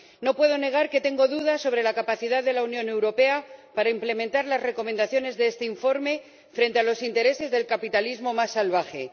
No puedo negar que tengo dudas sobre la capacidad de la Unión Europea para implementar las recomendaciones de este informe frente a los intereses del capitalismo más salvaje.